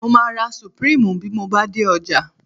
Mo máa ra Supreme bí mo bá dé ọjà